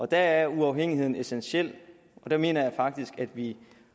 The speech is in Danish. der er uafhængigheden essentiel og der mener jeg faktisk vi